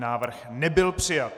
Návrh nebyl přijat.